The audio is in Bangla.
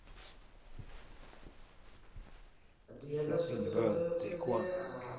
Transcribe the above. দু হাজার সতেরো তে হচ্ছে যে আহ